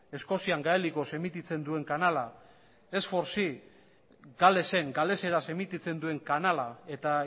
eskozian gaelikoz emititzen duen kanala ese lau ce galesen galeseraz emititzen duen kanala eta